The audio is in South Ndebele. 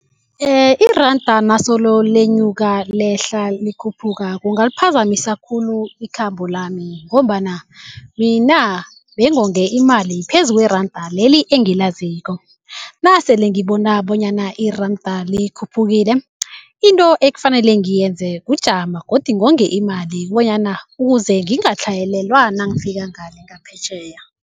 Iranda nasolo lenyuka, lehla, likhuphuka, kungaliphazamisa khulu ikhambo lami ngombana mina bengonge imali phezu kweranda leli engilaziko. Nasele ngibona bonyana iranda likhuphukile, into ekufanele ngiyenzele kujama godi ngonge imali bonyana ukuze ngingatlhayelelwa nangifika ngale ngaphetjheya.